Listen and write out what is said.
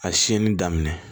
A siɲɛni daminɛ